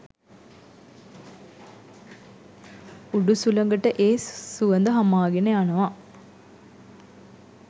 උඩු සුළඟට ඒ සුවඳ හමාගෙන යනවා.